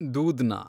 ದೂಧ್ನ